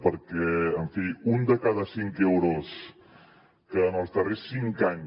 perquè en fi un de cada cinc euros que en els darrers cinc anys